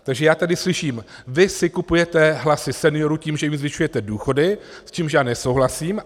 Takže já tady slyším: vy si kupujete hlasy seniorů tím, že jim zvyšujete důchody, s čímž já nesouhlasím.